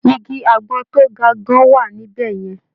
Igi àgbọn tó ga gan-an wà níbẹ̀ yẹn.